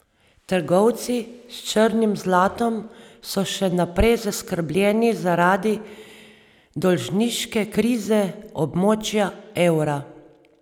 Trgovci s črnim zlatom so še naprej zaskrbljeni zaradi dolžniške krize območja evra.